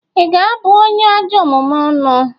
Ị ga-abu onye ajọ omume ọnụ?